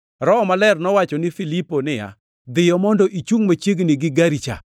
Roho Maler nowacho ni Filipo niya, “Dhiyo mondo ichungʼ machiegni gi gari cha.”